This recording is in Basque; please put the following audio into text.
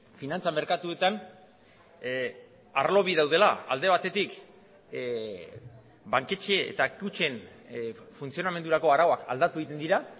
finantza merkatuetan arlo bi daudela alde batetik banketxe eta kutxen funtzionamendurako arauak aldatu egiten dira